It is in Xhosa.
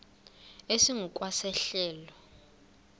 esingu kwa sehlelo